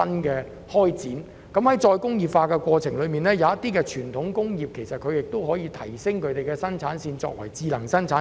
在再工業化的過程中，有些傳統工業其實可把生產線提升為智能生產線。